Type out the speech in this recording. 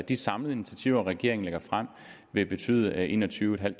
de samlede initiativer regeringen lægger frem vil betyde enogtyvetusinde